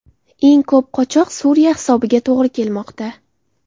Eng ko‘p qochoq Suriya hisobiga to‘g‘ri kelmoqda.